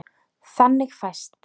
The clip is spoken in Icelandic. Þannig fæst